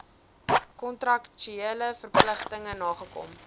kontraktuele verpligtinge nagekom